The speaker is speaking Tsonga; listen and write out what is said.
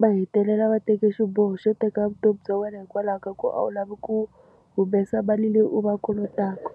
va hetelela va teke xiboho xo teka vutomi bya wena hikwalaho ka ku a wu lavi ku humesa mali leyi u va kolotaka.